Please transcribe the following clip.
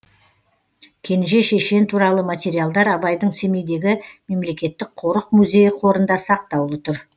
кенже шешен туралы материалдар абайдың семейдегі мемлекеттік қорық музейі қорында сақтаулы тұр